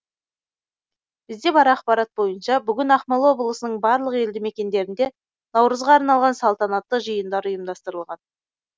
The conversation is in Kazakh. бізде бар ақпарат бойынша бүгін ақмола облысының барлық елді мекендерінде наурызға арналған салтанатты жиындар ұйымдастырылған